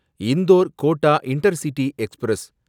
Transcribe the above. Indore Kota intercity express